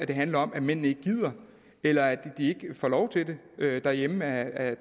det handler om at mænd ikke gider eller ikke får lov til det derhjemme af